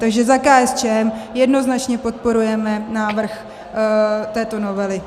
Takže za KSČM jednoznačně podporujeme návrh této novely.